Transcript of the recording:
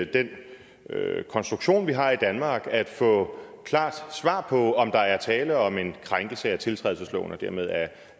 den konstruktion vi har i danmark at få klart svar på om der er tale om en krænkelse af tiltrædelsesloven og dermed